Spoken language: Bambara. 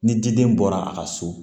Ni diden bɔra a ka so